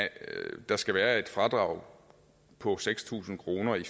der skal være et fradrag på seks tusind kroner i